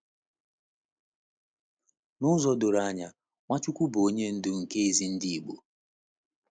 N’ụzọ doro anya, Nwachukwu bụ Onye Ndu nke ezi ndị Igbo.